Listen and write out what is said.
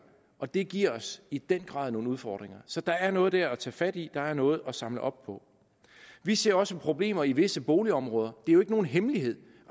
og det giver os i den grad nogle udfordringer så der er noget dér at tage fat i der er noget at samle op på vi ser også problemer i visse boligområder det er jo ikke nogen hemmelighed